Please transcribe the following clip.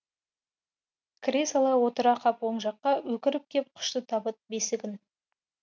кіре сала отыра қап оң жаққа өкіріп кеп құшты табыт бесігін